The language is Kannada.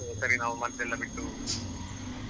ಅದ್ಕೆ ಸರಿ ನಾವು ಮದ್ದೆಲ್ಲ ಬಿಟ್ಟು.